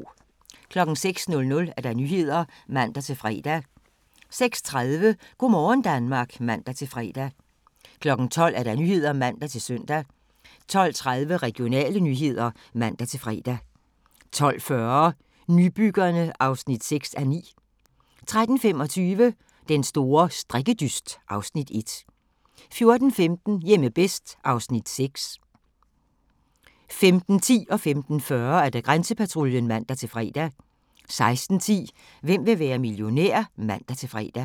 06:00: Nyhederne (man-fre) 06:30: Go' morgen Danmark (man-fre) 12:00: Nyhederne (man-søn) 12:30: Regionale nyheder (man-fre) 12:40: Nybyggerne (6:9) 13:25: Den store strikkedyst (Afs. 1) 14:15: Hjemme bedst (Afs. 6) 15:10: Grænsepatruljen (man-fre) 15:40: Grænsepatruljen (man-fre) 16:10: Hvem vil være millionær? (man-fre)